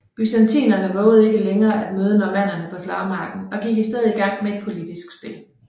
Byzantinerne vovede ikke længere at møde normannerne på slagmarken og gik i stedet i gang med et politisk spil